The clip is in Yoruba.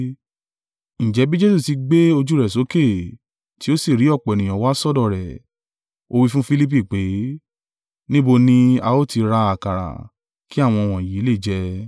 Ǹjẹ́ bí Jesu ti gbé ojú rẹ̀ sókè, tí ó sì rí ọ̀pọ̀ ènìyàn wá sọ́dọ̀ rẹ̀, ó wí fún Filipi pé, “Níbo ni a ó ti ra àkàrà, kí àwọn wọ̀nyí lè jẹ?”